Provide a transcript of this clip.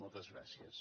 moltes gràcies